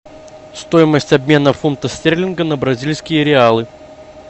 стоимость обмена фунта стерлинга на бразильские реалы